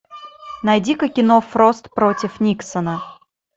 найди ка кино фрост против никсона